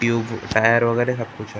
Tube tyre वगैरह का कुछ है ।